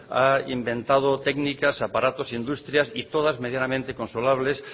ha inventado técnicas aparatos industrias y todas medianamente